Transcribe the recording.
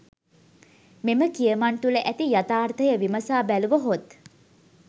මෙම කියමන් තුළ ඇති යථාර්ථය විමසා බැලුව හොත්?